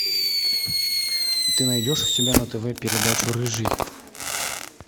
ты найдешь у себя на тв передачу рыжий